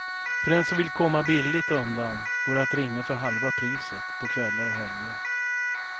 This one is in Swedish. För den som vill komma billigt undan går det att ringa för halva priset på kvällar och helger.